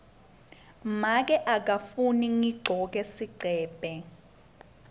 make akafuni ngigcoke sigcebhe